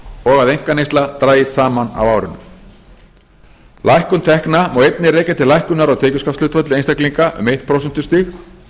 og að einkaneysla dragist saman á árinu lækkun tekna má einnig rekja til lækkunar á tekjuskattshlutfall einstaklinga um eitt prósentustig